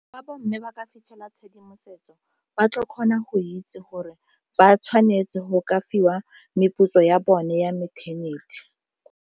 Fa bo mme ba ka fitlhela tshedimosetso ba tla kgona go itse gore ba tshwanetse go ka fiwa meputso ya bone ya mo maternity.